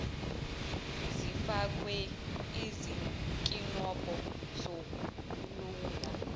zifakwe izinkinobho zokulawula